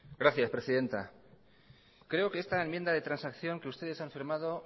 gracias presidenta creo que esta enmienda de transacción que ustedes han firmado